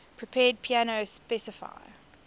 prepared piano specify